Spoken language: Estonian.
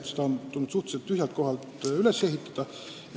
Eks see on tulnud suhteliselt tühjalt kohalt üles ehitada.